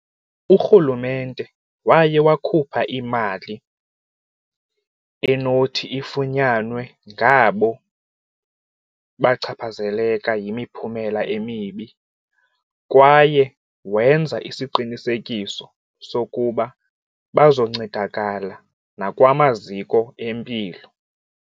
Urhulumente waye wakhupha imali enothi ifunyanwe ngabo bachaphazeleka yimiphumela emibi kwaye wenza isiqinisekiso sokuba bazoncedakala nakwamaziko empilo.